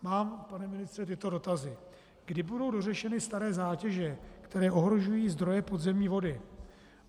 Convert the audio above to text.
Mám, pane ministře, tyto dotazy: Kdy budou dořešeny staré zátěže, které ohrožují zdroje podzemní vody?